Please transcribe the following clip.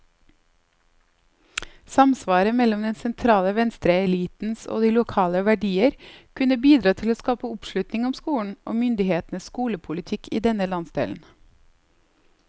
Samsvaret mellom den sentrale venstreelitens og de lokale verdier kunne bidra til å skape oppslutning om skolen, og myndighetenes skolepolitikk i denne landsdelen.